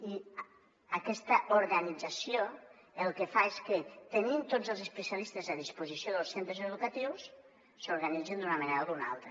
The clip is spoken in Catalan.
i aquesta organització el que fa és que tenint tots els especialis·tes a disposició dels centres educatius s’organitzin d’una manera o d’una altra